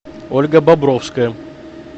ольга бобровская